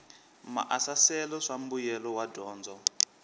maasesele swa mbuyelo wa dyondzo